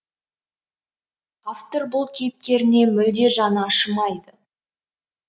автор бұл кейіпкеріне мүлде жаны ашымайды